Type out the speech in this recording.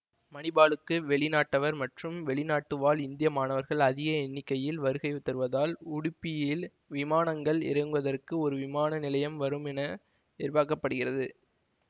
மணிபாலுக்கு வெளிநாட்டவர் மற்றும் வெளிநாடுவாழ் இந்திய மாணவர்கள் அதிக எண்ணிக்கையில் வருகை தருவதால் உடுப்பியில் விமானங்கள் இறங்குவதற்கு ஒரு விமான நிலையம் வரும் என எதிர்பார்க்க படுகிறது